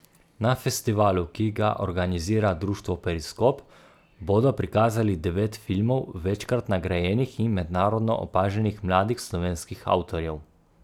Na festivalu, ki ga organizira društvo Periskop, bodo prikazali devet filmov večkrat nagrajenih in mednarodno opaženih mladih slovenskih avtorjev.